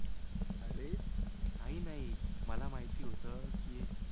अरे काही नाही. मला माहिती होतं की,